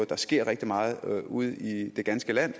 der sker rigtig meget ude i det ganske land